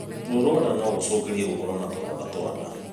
Ruo rwa nda nũgũcũngĩrie gũkorwo na tũronda twa nda